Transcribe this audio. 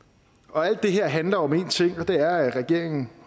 alt det her handler om én ting og det er at regeringen